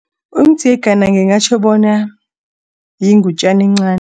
Umdzengana ngingatjho bona yingutjana encani.